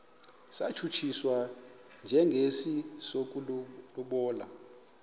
satshutshiswa njengesi sokulobola